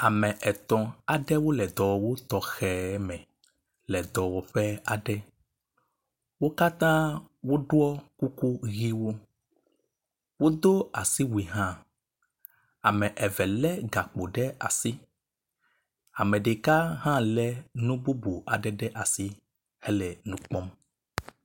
Ame etɔ̃ aɖewo le dɔwɔwu tɔxɛ aɖe me le dɔwɔƒe aɖe. Wo katã woɖɔ kuku ʋɛ̃wo. Wodo asiwui hã, ame eve lé gakpo ɖe asi, ame ɖeka hã lé nu bubu aɖe ɖe asi hele nu kpɔm.